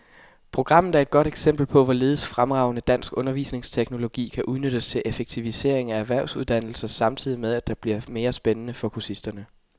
Programmet er et godt eksempel på, hvorledes fremragende dansk undervisningsteknologi kan udnyttes til effektivisering af erhvervsuddannelser samtidig med, at det bliver mere spændende for kursisterne.